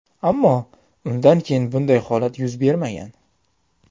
Ammo undan keyin bunday holat yuz bermagan.